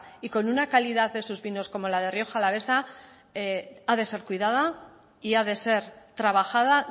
y con una calidad de sus vinos como la de rioja alavesa ha de ser cuidada y ha de ser trabajada